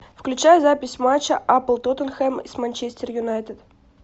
включай запись матча апл тоттенхэм с манчестер юнайтед